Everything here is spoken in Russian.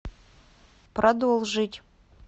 продолжить